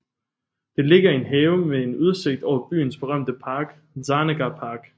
Det ligger i en have med en udsigt over byens berømte park Zarnegar Park